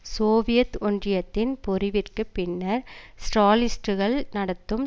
Soviet ஒன்றியத்தின் பொறிவிற்குப் பின்னர் ஸ்ராலிஸ்ட்டுக்கள் நடத்தும்